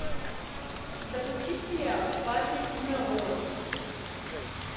запусти сериал патрик мелроуз